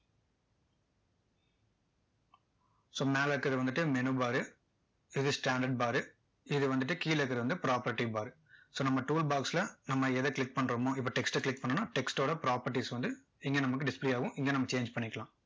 so மேல இருக்கிறது வந்துட்டு menu bar ரு இது standard bar ரு இது வந்துட்டு கீழ இருக்கிறது வந்துட்டு property bar ரு so நம்ம tool box ல நம்ம எதை click பண்றோமோ இப்போ text ட click பண்ணோம்னா text ஓட properties வந்து இங்க நமக்கு display ஆகும் இங்க நம்ம change பண்ணிக்கலாம்